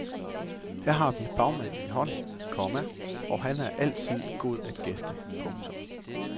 Her har vi fagmanden i hånden, komma og han er altid god at gæste. punktum